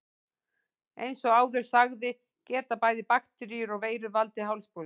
Eins og áður sagði geta bæði bakteríur og veirur valdið hálsbólgu.